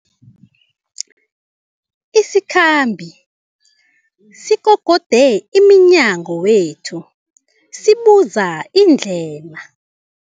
Isikhambi sikokode emnyango wethu sibuza indlela.